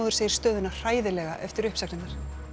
segir stöðuna hræðilega eftir uppsagnirnar